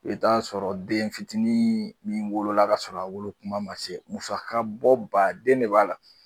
I bɛ t'a sɔrɔ den fitinin min wolola kasɔrɔ a wolokuma ma se musakabɔ baaden de b'a la